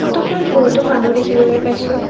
Photo খনত বহুতো মানুহ দেখিবলৈ পাইছো।